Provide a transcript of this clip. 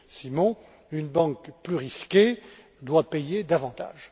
Simon, une banque plus risquée doit payer davantage.